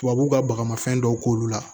Tubabu ka bagama fɛn dɔw k'olu la